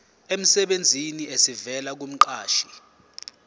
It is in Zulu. emsebenzini esivela kumqashi